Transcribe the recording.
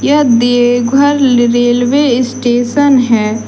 यह Deoghar railway station है।